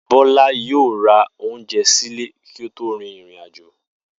Bó̩lá yóò ra oúnje̩ sílé kí ó tó rin ìrìnàjò